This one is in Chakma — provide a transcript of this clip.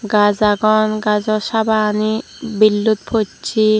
gaj agon gajo saba gani billut pochi.